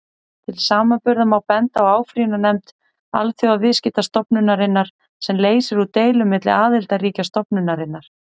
Til samanburðar má benda á áfrýjunarnefnd Alþjóðaviðskiptastofnunarinnar, sem leysir úr deilum milli aðildarríkja stofnunarinnar.